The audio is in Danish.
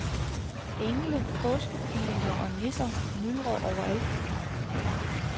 Engle, påskekyllinger og nisser myldrer overalt.